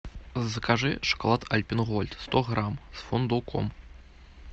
закажи шоколад альпен голд сто грамм с фундуком